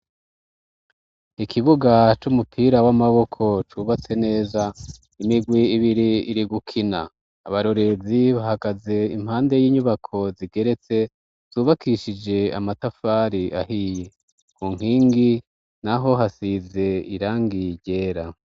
ikibuga c'umupira w'amaboko cubatse neza imigwi ibiri iri gukina abarorezi bahagaze impande y'inyubako zigeretse zubakishije amatafari ahiye ku nkingi n'aho hasize irangi ryera